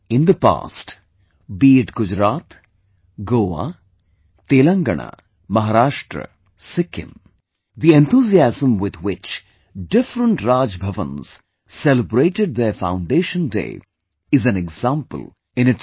In the past, be it Gujarat, Goa, Telangana, Maharashtra, Sikkim, the enthusiasm with which different Raj Bhavans celebrated their foundation days is an example in itself